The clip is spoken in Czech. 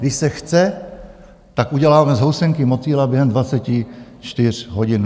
Když se chce, tak uděláme z housenky motýla během 24 hodin.